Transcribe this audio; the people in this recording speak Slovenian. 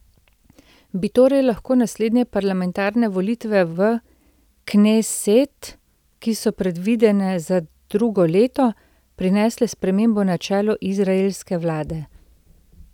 Bi torej lahko naslednje parlamentarne volitve v kneset, ki so predvidene za drugo leto, prinesle spremembo na čelu izraelske vlade?